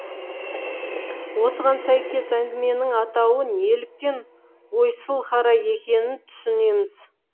осыған сәйкес әңгіменің атауы неліктен ойсылқара екенін түсінеміз